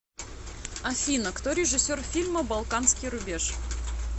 афина кто режиссер фильма балканский рубеж